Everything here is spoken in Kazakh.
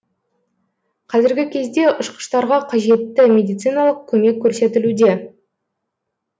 қазіргі кезде ұшқыштарға қажетті медициналық көмек көрсетілуде